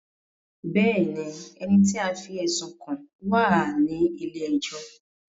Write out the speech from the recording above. Bẹ́ẹ̀ni, ẹni tí a fí ẹ̀sùn kàn wá à ní ilé ẹjọ́